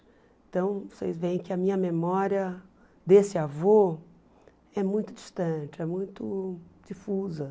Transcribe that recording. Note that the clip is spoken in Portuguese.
Então vocês veem que a minha memória desse avô é muito distante, é muito difusa.